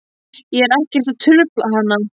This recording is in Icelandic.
Ég er ekkert að trufla hana.